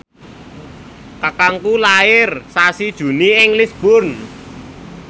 kakangku lair sasi Juni ing Lisburn